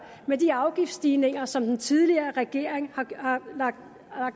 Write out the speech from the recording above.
med de afgiftsstigninger som den tidligere regering har lagt